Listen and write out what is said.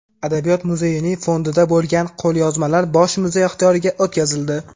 Adabiyot muzeyining fondida bo‘lgan qo‘lyozmalar bosh muzey ixtiyoriga o‘tkazildi.